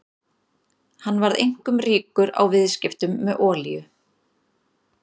Hann varð einkum ríkur á viðskiptum með olíu.